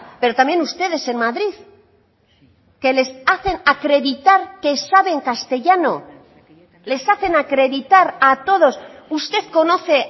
pero también ustedes en madrid que les hacen acreditar que saben castellano les hacen acreditar a todos usted conoce